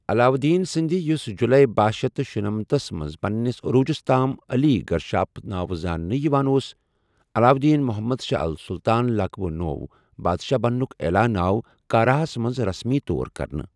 علاؤالدین سندِ ، یُس جولٲے بہہَ شیتھ شُنمتھ تھس منٛز پننِس عروُجس تام علی گرشاسپ نٲوٕ زاننہٕ یوان اوس، ، علاؤالدین محمد شاہ السلطان لقبہٕ نو٘و بادشاہ بننٗك عیلان آو کاراہس منٛز رسمی طور کرنہٕٕ ۔